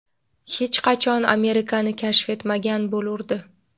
hech qachon Amerikani kashf etmagan bo‘lurdi.